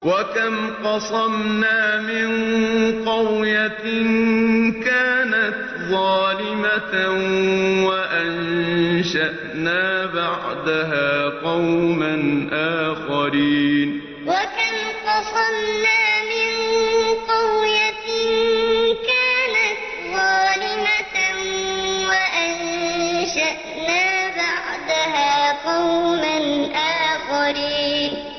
وَكَمْ قَصَمْنَا مِن قَرْيَةٍ كَانَتْ ظَالِمَةً وَأَنشَأْنَا بَعْدَهَا قَوْمًا آخَرِينَ وَكَمْ قَصَمْنَا مِن قَرْيَةٍ كَانَتْ ظَالِمَةً وَأَنشَأْنَا بَعْدَهَا قَوْمًا آخَرِينَ